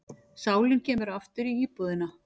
Sálin kemur aftur í íbúðina.